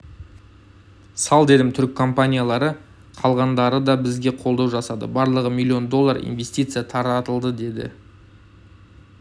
сал дедім түрік компаниялары қалғандары да бізге қолдау жасады барлығы миллион доллар инвестиция тартылды деді